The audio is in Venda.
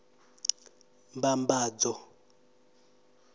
mbambadzo